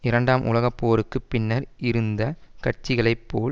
இரண்டாம் உலக போருக்கு பின்னர் இருந்த கட்சிகளை போல்